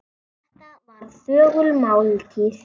Þetta var þögul máltíð.